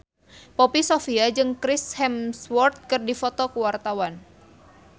Poppy Sovia jeung Chris Hemsworth keur dipoto ku wartawan